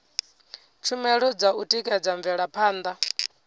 tshumelo dza u tikedza mvelaphanda